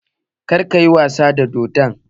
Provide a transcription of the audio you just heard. Kada ka yi wasa da dodon